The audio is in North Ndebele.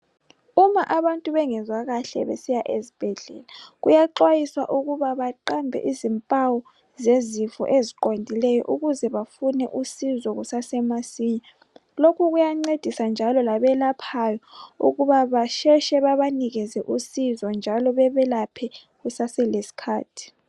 Uma abantu bengezwa kahle besiya ezibhedlela kuyaxwayiswa ukuba baqambe izimpawu zezifo eziqondileyo ukuze bafune usizo kusasemasinya lokhu kuyancedisa njalo labelaphayo ukuba basheshe babanikeze usizo njalo bebelaphe kusaselesikhathi.